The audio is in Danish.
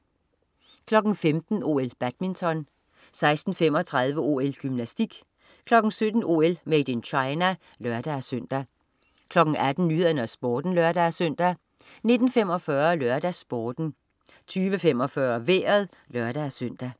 15.00 OL: Badminton 16.35 OL: Gymnastik 17.00 OL: Made in China (lør-søn) 18.00 Nyhederne og Sporten (lør-søn) 19.45 LørdagsSporten 20.45 Vejret (lør-søn)